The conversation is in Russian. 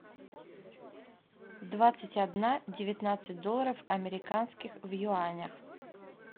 двадцать одна девятнадцать долларов американских в юанях